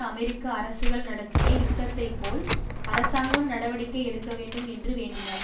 அமெரிக்க அரசுகள் நடத்திய யுத்தத்தை போல் அரசாங்கம் நடவடிக்கை எடுக்க வேண்டும் என்று வேண்டினார்